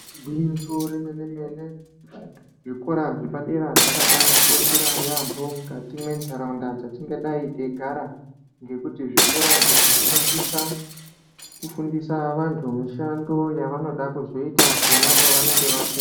Gwinyiso remene mene zvikora zvepadera zvakabatikoshera yaambo mwukati mwentaraunda dzatingadai teyigara, ngekuti zvikora izvi zvinosisa kufundisa vantu mishando yavanoda kuzoita pona pavanenge vaku..